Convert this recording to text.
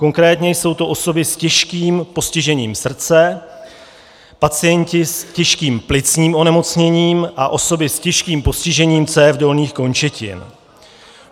Konkrétně jsou to osoby s těžkým postižením srdce, pacienti s těžkým plicním onemocněním a osoby s těžkým postižením cév dolních končetin.